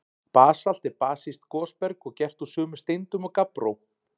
Basalt er basískt gosberg og gert úr sömu steindum og gabbró.